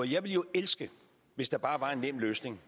jeg ville jo elske hvis der bare var en nem løsning